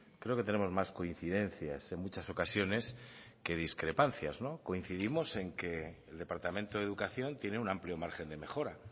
creo que tenemos más coincidencias en muchas ocasiones que discrepancias coincidimos en que el departamento de educación tiene un amplio margen de mejora